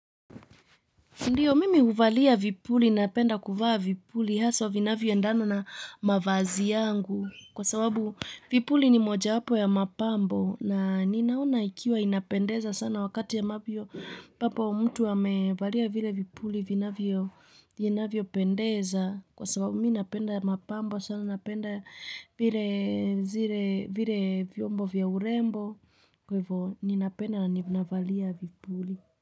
Ndio, mimi huvalia vipuli, napenda kuvaa vipuli, hasa vinavyo endana na mavazi yangu, kwa sababu vipuli ni moja wapo ya mapambo, na ninaona ikiwa inapendeza sana wakati ambapo mtu amevalia vile vipuli, vinavyo vinavyopendeza, kwa sababu mimi napenda mapambo sana napenda vile zile, vile vyombo vya urembo, kwa hivyo, ninapenda na ninavalia vipuli.